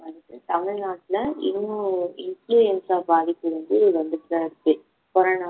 வந்துட்டு தமிழ்நாட்டுல இன்னும் influenza பாதிப்பு வந்து வந்துட்டுதா இருக்கு corona